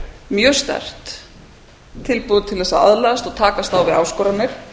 mjög sterkt tilbúið til þess að aðlagast og takast á við áskoranir